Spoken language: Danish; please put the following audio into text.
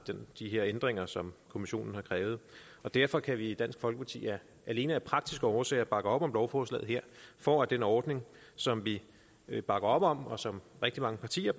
de her ændringer som kommissionen har krævet derfor kan vi i dansk folkeparti alene af praktiske årsager bakke op om lovforslaget her for at den ordning som vi bakker op om og som rigtig mange partier